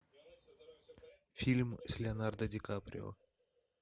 фильм с леонардо ди каприо